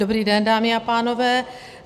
Dobrý den, dámy a pánové.